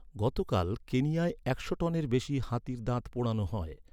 গতকাল, কেনিয়ায় একশ টনের বেশি হাতির দাঁত পোড়ানো হয়।